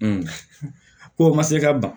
ko o ma se ka ban